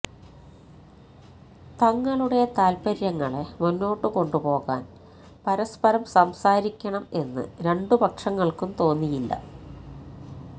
തങ്ങളുടെ താല്പര്യങ്ങളെ മുന്നോട്ടു കൊണ്ടുപോകാൻ പരസ്പരം സംസാരിക്കണം എന്ന് രണ്ടു പക്ഷങ്ങൾക്കും തോന്നിയില്ല